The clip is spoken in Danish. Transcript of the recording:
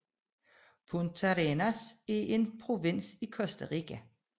Puntarenas er en provins i Costa Rica